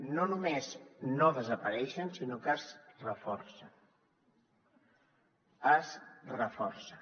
no només no desapareixen sinó que es reforcen es reforcen